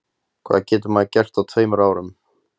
Hvað getur maður gert á tveimur árum?